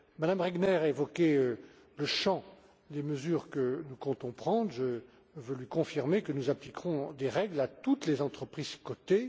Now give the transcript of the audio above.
Mme Regner évoquait le champ des mesures que nous comptons prendre, et je peux lui confirmer que nous appliquerons des règles à toutes les entreprises cotées.